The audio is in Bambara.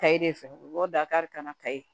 Kayi de fɛ u b'aw da kari ka na kayi